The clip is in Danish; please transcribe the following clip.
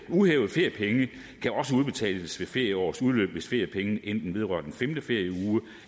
uhævede feriepenge kan også udbetales ved ferieårets udløb hvis feriepengene enten vedrører den femte ferieuge